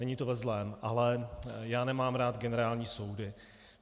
Není to ve zlém, ale já nemám rád generální soudy.